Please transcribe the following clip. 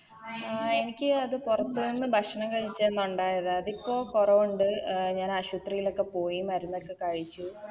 ആ എനിക്ക് അത് പൊറത്ത് നിന്ന് ഭക്ഷണം കഴിച്ചന്ന് ഒണ്ടായതാ അതിപ്പോ കൊറവുണ്ട് അഹ് ഞാൻ ആശുത്രിലോക്കെ പോയി മരുന്നൊക്കെ കഴിച്ചു